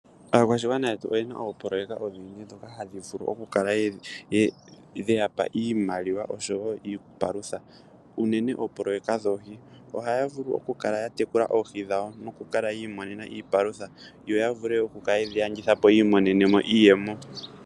Aakwashigwana yetu oyena oopoloyeka oonene ndhoka hadhi vulu oku kala dheyapa iimaliwa oshowo iipalutha. Unene oopoloyeka dhoohi, ohaya vulu oku kala ya tekula oohi dhawo noku kala yi imonena iipalutha, yo ya vule oku kala yedhi landitha po yo yi imonene mo iiyemo.